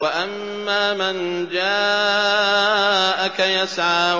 وَأَمَّا مَن جَاءَكَ يَسْعَىٰ